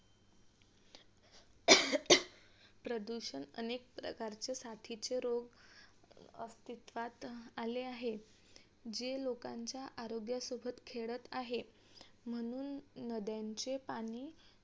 प्रदूषण अनेक प्रकारचे साथीचे रोग अस्तित्वात आले आहे हे लोकांच्या आरोग्यसोबत खेळात आहे म्हणून नद्यांचे पाणी